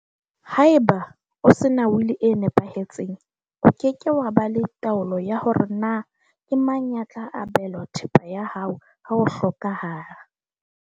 Haeba o sena will-i e nepahetseng, o ke ke wa ba le taolo ya hore na ke mang ya tla abelwa thepa ya hao ha o hlokahala.